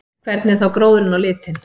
Hvernig er þá gróðurinn á litinn?